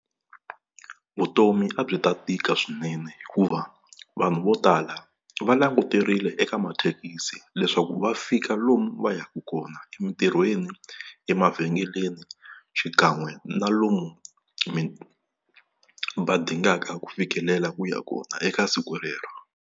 Vutomi a byi ta tika swinene hikuva vanhu vo tala va languterile eka mathekisi leswaku va fika lomu va ya ka kona, emintirhweni, emavhengeleni xikan'we na lomu va dingaka ku fikelela ku ya kona eka siku rero.